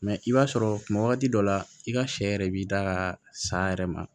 i b'a sɔrɔ wagati dɔ la i ka sɛ yɛrɛ b'i da ka saya yɛrɛ ma